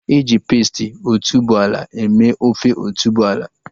Eji pesti otuboala eme ofe otuboala